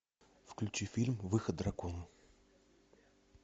включи фильм выход дракона